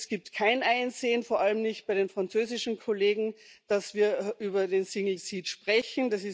Es gibt kein Einsehen, vor allem nicht bei den französischen Kollegen, dass wir über den single seat sprechen.